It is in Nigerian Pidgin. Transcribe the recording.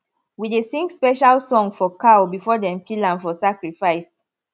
we dey sing special song for cow before dem kill am for sacrifice